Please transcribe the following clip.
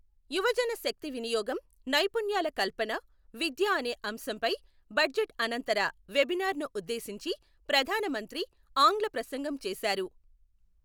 యువజన శక్తి వినియోగం, నైపుణ్యాల కల్పన, విద్య అనే అంశంపై బడ్జెట్ అనంతర వెబినార్నుఉద్దేశించి ప్రధాన మంత్రి ఆంగ్ల ప్రసంగం చేసారు.